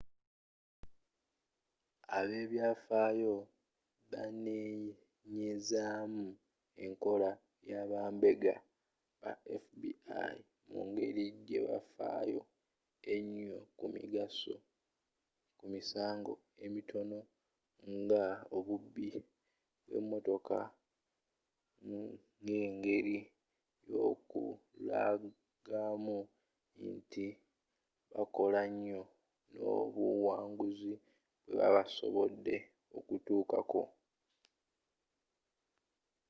abebyafayo banenyezamu enkola y'abambega ba fbi mu ngeri gyebafyo enyo ku misango emitono nga obubbi bwe motoka ng'engeri y'okulagamu nti bakola nyo nobuwanguzi bwebasobodde okutuukako